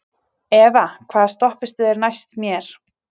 Eva, hvaða stoppistöð er næst mér?